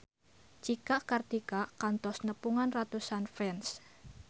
Cika Kartika kantos nepungan ratusan fans